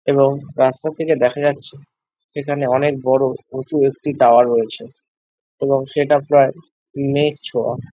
এবং রাস্তা থাকে দেখা যাচ্ছে এখানে অনেক বড়ো উঁচু একটি টাওয়ার রয়েছে এবং সেটা প্রায় মেঘ ছোয়া ।